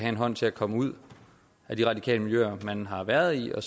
en hånd til at komme ud af de radikale miljøer han har været i og